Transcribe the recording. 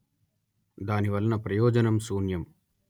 దాని వలన ప్రయోజనం శూన్యం